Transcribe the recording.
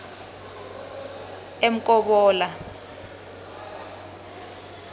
emkobola